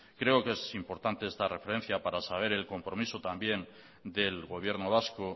creo que es importante esta referencia para saber el compromiso también del gobierno vasco